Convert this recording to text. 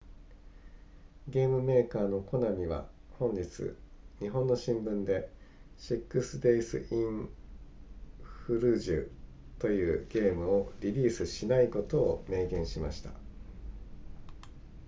ゲームメーカーのコナミは本日日本の新聞で six days in fallujah というゲームをリリースしないことを明言しました